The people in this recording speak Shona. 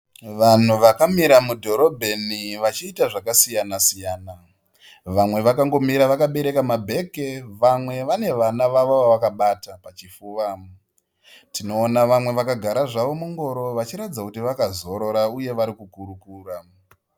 Vanhu vakamira mudhorebheni vachiita zvakasiyana siyana, vamwe vakangomira vakabereka mabhegi, vamwe vane vana vavo vavakabata pachipfuva. Tinoona vamwe vakagara zvavo mungoro vachiratidza kuti vakazorora uye varikukurukura.